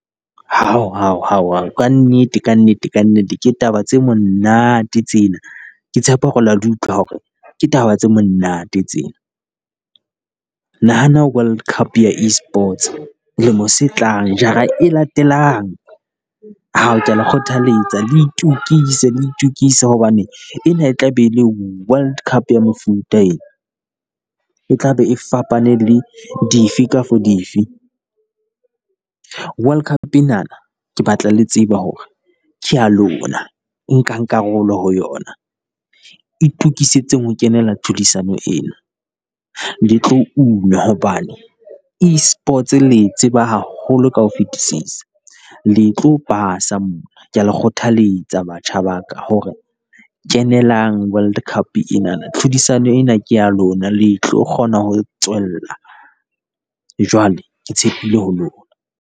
Hao hao hao ao kannete kannete kannete ke taba tse monate tsena. Ke tshepa hore le ya di utlwa hore ke taba tse monate tse. Nahana World Cup ya E sports lemo se tlang, jara e latelang, ao kea le kgothaletsa le itokise le itokise hobane ena e tla be e le World Cup ya mofuta e. E tla be e fapane le dife kafo dife. World Cup enana ke batla le tseba hore ke ya lona, nkang karolo ho yona, Itokisetseng ho kenela tlhodisano eo, le tlo o una hobane, E sports le e tseba haholo ka ho fetisisa. Le tlo pasa mona kea le kgothaletsa batjha ba ka hore kenelang World Cup enana, tlhodisano ena ke ya lona le tlo kgona ho tswella, jwale ke tshepile ho lona.